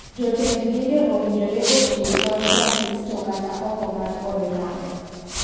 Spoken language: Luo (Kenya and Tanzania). Jotend dinde owinjore ochiw kony ja kristo kata oko mar od lamo.